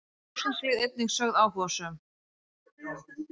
Þá eru rússnesk lið einnig sögð áhugasöm.